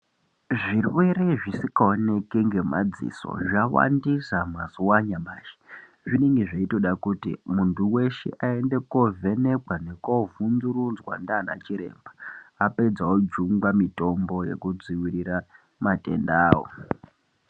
Zvirwere zvisikaoneki ngemadziso zvawandisa mazuva anyamashi. Zvinenge zveitoda kuti muntu weshe aende koovhenekwa nekuovhunzurudzwa ndiana chiremba. Apedza ojungwa mitombo yekudzivirira matendawo.